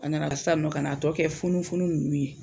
A nana sisan k'a tɔ kɛ funun funun ninnu ye.